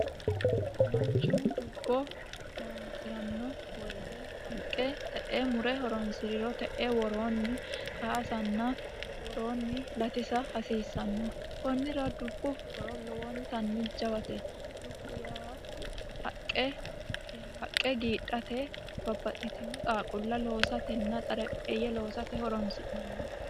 Manichu dubbo hirohironisiranno woyte haqqe te"ee mure horonisiriro te"ee woroonni kaasanna woroonni latisa hasiissano konnira dubbu horo lowonitanni jawate dubbu yaa haqqe haqqe giidhate babbaxitino xaawulla loosatena xarapheeye loosate horonisi'nanni